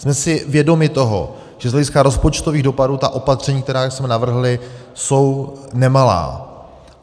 Jsme si vědomi toho, že z hlediska rozpočtových dopadů ta opatření, která jsme navrhli, jsou nemalá.